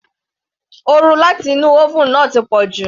Oru láti inú oven náà ti pọ̀jù.